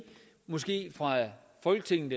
folketinget